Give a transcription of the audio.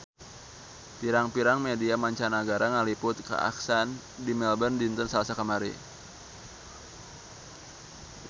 Pirang-pirang media mancanagara ngaliput kakhasan di Melbourne dinten Salasa kamari